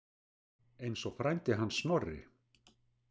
Eins og frændi hans Snorri.